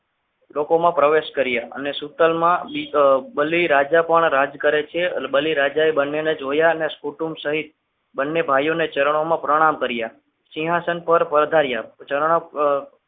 લોકોમાં પ્રવેશ કર્યા અને શીતલમાં બલિરાજા પણ રાજ કરે છે બલિરાજાએ બંનેને જોયા અને કુટુંબ સહિત બંને ભાઈઓને ચરણોમાં પ્રણામ કર્યા સિંહાસન પર પધાર્યા ચરણ